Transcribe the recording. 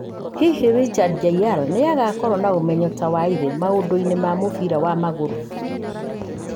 Hihi Richard Jr. nĩ agakorũo na ũmenyeru ta wa ithe maũndũ-inĩ ma mũbira wa magũrũ?